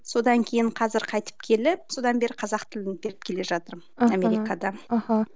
содан кейін қазір қайтып келіп содан бері қазақ тілін беріп келе жатырмын аха америкада аха